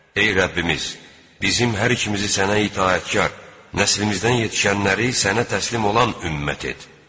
Ey Rəbbimiz, bizim hər ikimizi sənə itaətkar, nəslimizdən yetişənləri sənə təslim olan ümmət et.